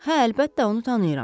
Hə, əlbəttə, onu tanıyıram.